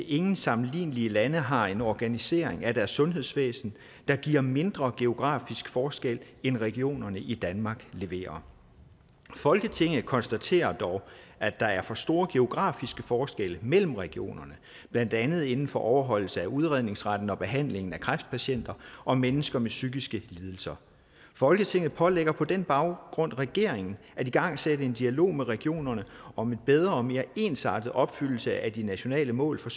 ingen sammenlignelige lande har en organisering af deres sundhedsvæsen der giver mindre geografiske forskelle end regionerne i danmark leverer folketinget konstaterer dog at der er for store geografiske forskelle mellem regionerne blandt andet inden for overholdelse af udredningsretten og behandling af kræftpatienter og mennesker med psykiske lidelser folketinget pålægger på den baggrund regeringen at igangsætte en dialog med regionerne om en bedre og mere ensartet opfyldelse af de nationale mål for